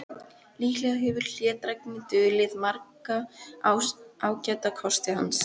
Líklega hefur hlédrægni dulið marga ágæta kosti hans.